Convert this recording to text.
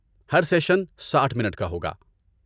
ہر session ساٹھ minute کا ہوگا